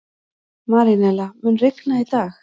Marínella, mun rigna í dag?